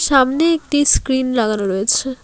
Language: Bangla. সামনে একটি স্ক্রিন লাগানো রয়েছে।